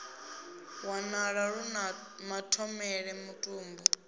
wanala lu na mathomele mutumbu